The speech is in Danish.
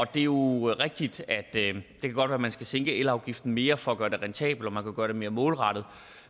det er jo rigtigt at det godt at man skal sænke elafgiften mere for at gøre det rentabelt og kan gøre det mere målrettet